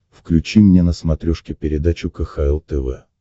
включи мне на смотрешке передачу кхл тв